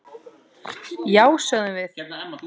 Já, sögðum við.